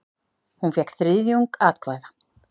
Hún fékk þriðjung atkvæða.